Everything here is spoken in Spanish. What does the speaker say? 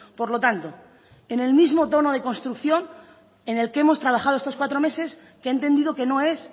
por lo tanto en el mismo tono de construcción en el que hemos trabajado estos cuatro meses que he entendido que no es